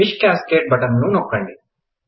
fish cascade button ను నొక్కండి